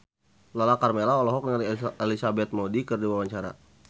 Lala Karmela olohok ningali Elizabeth Moody keur diwawancara